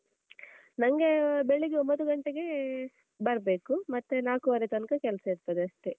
ನಂಗೇ ಬೆಳಿಗ್ಗೇ ಒಂಭತ್ತು ಗಂಟೆಗೇ ಬರ್ಬೇಕು ಮತ್ತೆ ನಾಲ್ಕು ವರೆ ತನ್ಕ ಕೆಲ್ಸ ಇರ್ತದಷ್ಟೇ.